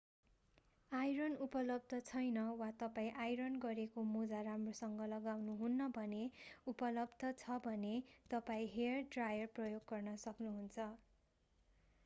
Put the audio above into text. iron उपलब्ध छैन वा तपाईं आइरन गरेको मोजा राम्रोसँग लगाउनुहुन्न भने उपलब्ध छ भने तपाईं हेयर ड्रायर प्रयोग गर्न सक्नु हुन्छ